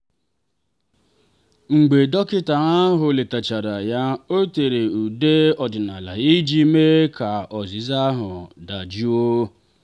mgbe dọkịta ahụ letachara ya o tere ude ọdịnala iji mee ka ọzịza ahụ dajụọ.